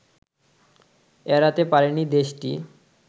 এড়াতে পারেনি দেশটি